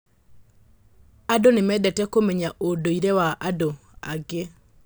Andũ nĩ mendete kũmenya ũndũire wa andũ angĩ.